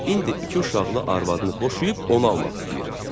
İndi iki uşaqlı arvadını boşayıb onu almaq istəyir.